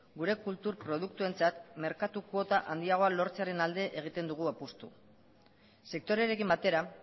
gure kultur produktuentzat merkatu kuota handiagoa lortzearen alde egiten dugu apustua sektorearekin batera